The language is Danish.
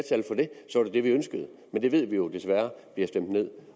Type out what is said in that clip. det vi ønskede men det ved vi jo desværre bliver stemt ned